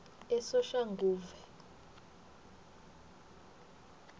esoshanguve